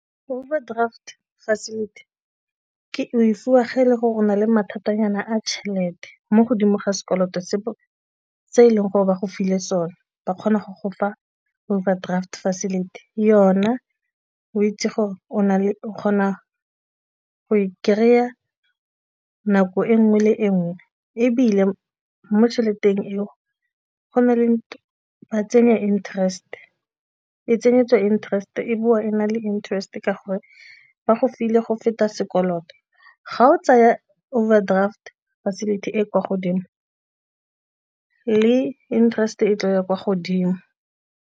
Overdraft facility o e fiwa ge e le gore o na le mathatanyana a tšhelete mo godimo ga sekoloto se se e leng gore ba go file sone ba kgona go gofa overdraft facility yona o itse gore o na o kgona go e kry-a nako e nngwe le e nngwe ebile mo tšheleteng eo go na le ba tsenya interest-e tsenyetsiwa interest-e e nna le interest ka gore ba go file go feta sekoloto. Ga o tsaya overdraft facility e e kwa godimo le interest-e tlo ya kwa godimo.